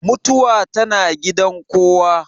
Mutuwa tana gidan kowa.